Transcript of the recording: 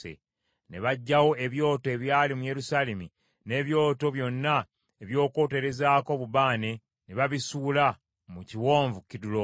Ne baggyawo ebyoto ebyali mu Yerusaalemi, n’ebyoto byonna eby’okwoterezaako obubaane, ne babisuula mu Kiwonvu Kidulooni.